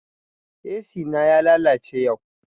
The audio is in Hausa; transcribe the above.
Ac na ya lalace yau